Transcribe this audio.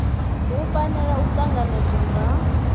hu fanela u tanganedzwa nga